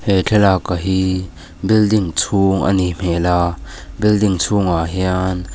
he thlalak a hi building chhung a nih hmel a building chhungah hian.